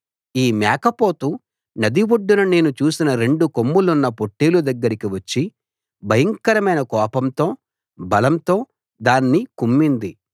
ఈ మేకపోతు నది ఒడ్డున నేను చూసిన రెండు కొమ్ములున్న పొట్టేలు దగ్గరికి వచ్చి భయంకరమైన కోపంతో బలంతో దాన్ని కుమ్మింది